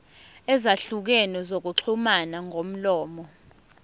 ezahlukene zokuxhumana ngomlomo